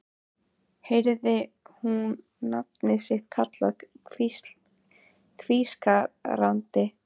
Heyrði hún nafnið sitt kallað hvískrandi